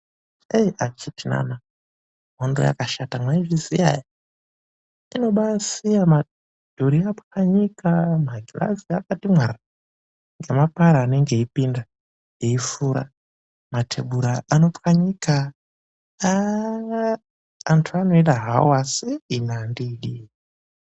Eh akiti nana hondo yakabaashata, mwaizviziya ere? Inobaasiya madhuri anopwanyika magirazi akati mwarara ngemapara anenge eipinda eifura. Matebhura anopwanyika, antu anoida havo asi ini andiidi.